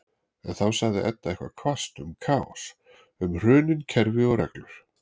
En þá sagði Edda eitthvað hvasst um kaos, um hrunin kerfi og reglur-